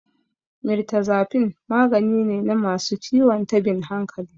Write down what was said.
Mirtazapine magani ne na masu ciwon tabin hankali.